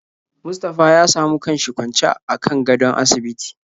Mustapha ya samu kanshi kwancw akan gadon asibiti.